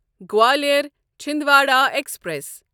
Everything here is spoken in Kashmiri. گوالیار چھیندوارا ایکسپریس